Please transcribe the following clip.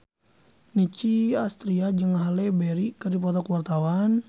Nicky Astria jeung Halle Berry keur dipoto ku wartawan